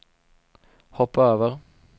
hoppa över